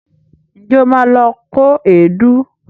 Ǹjẹ́ o ma lọ kó èédú?